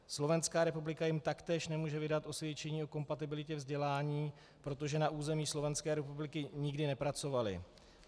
Slovenská republika jim taktéž nemůže vydat osvědčení o kompatibilitě vzdělání, protože na území Slovenské republiky nikdy nepracovali.